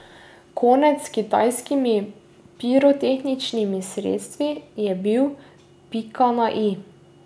Konec s kitajskimi pirotehničnimi sredstvi je bil pa pika na i.